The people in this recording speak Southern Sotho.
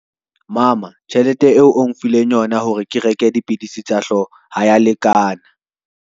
Mama tjhelete eo o nfileng yona hore ke reke dipidisi tsa hlooho ha ya lekana.